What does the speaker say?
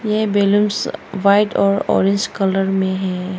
ये balloons white और orange colour में है।